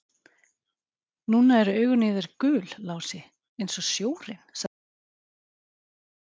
Núna eru augun í þér gul, Lási, eins og sjórinn, sagði Abba hin og hló.